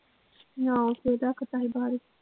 ਨਾ ਉੱਥੇ ਰੱਖਤਾ ਸੀ ਬਾਹਰ।